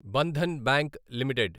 Bandhan bank limited